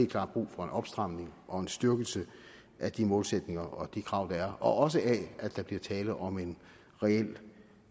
klart brug for en opstramning og en styrkelse af de målsætninger og krav der er og også af at der bliver tale om en reel